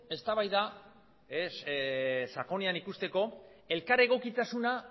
eztabaida sakonean ikusteko elkar egokitasuna